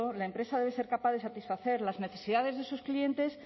la empresa debe ser capaz de satisfacer las necesidades de sus clientes